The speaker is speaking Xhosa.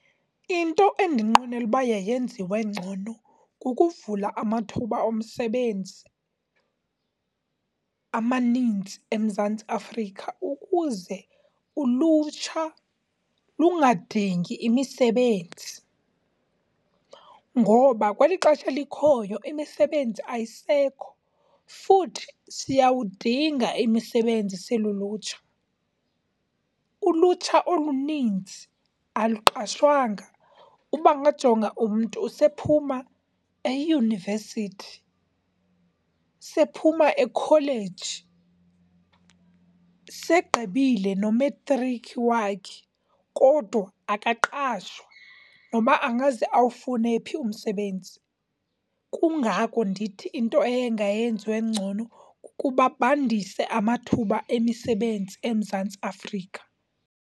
Into endinqwenela uba yayenziwe ngcono kukuvula amathuba omsebenzi amaninzi eMzantsi Afrika ukuze ulutsha lungadingi imisebenzi. Ngoba kweli xesha likhoyo imisebenzi ayisekho, futhi siyawudinga imisebenzi silulutsha. Ulutsha oluninzi aluqashwanga, uba ngajonga umntu sephuma eyunivesithi, sephuma ekholeji, segqibile nometrikhi wakhe kodwa akaqashwa noba angaze awufune phi umsebenzi. Kungako ndithi into eyengayenziwe ngcono kukuba bandise amathuba emisebenzi eMzantsi Afrika.